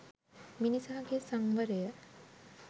මිනිසා ගේ සංවරය